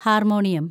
harmonium